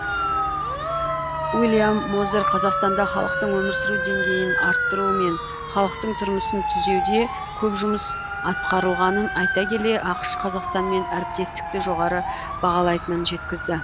уильям мозер қазақстанда халықтың өмір сүру деңгейін арттыру мен халықтың тұрмысын түзеуде көп жұмыс атқарылғанын айта келе ақш қазақстанмен әріптестікті жоғары бағалайтынын жеткізді